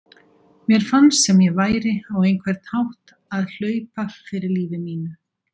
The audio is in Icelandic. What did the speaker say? Mér fannst sem ég væri á einhvern hátt að hlaupa fyrir lífi mínu.